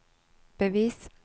bevis